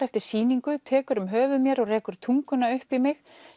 eftir sýningu tekur um höfuð mér og rekur tunguna upp í mig